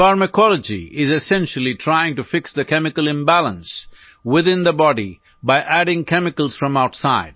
pharmacology is essentially trying to fix the chemical imbalance within the body by adding chemicals from outside